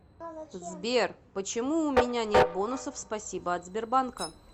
сбер почему уменя нет бонусов спасибо от сбербанка